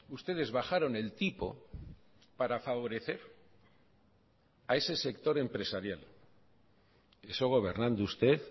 ustedes bajaron el tipo para favorecer a ese sector empresarial eso gobernando usted